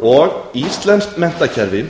og íslenskt menntakerfi